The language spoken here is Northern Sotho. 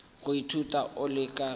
go ithuta o le ka